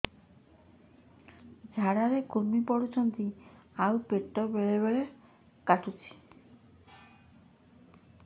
ଝାଡା ରେ କୁର୍ମି ପଡୁଛନ୍ତି ଆଉ ପେଟ ବେଳେ ବେଳେ କାଟୁଛି